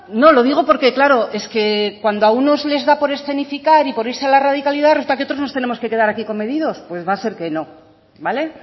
no lo digo porque claro es que cuando a uno les da por escenificar y por irse a la radicalidad resulta que otros nos tenemos que quedar aquí comedidos pues va a ser que no vale